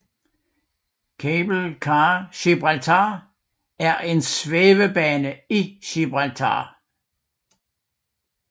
Cable Car Gibraltar er en svævebane i Gibraltar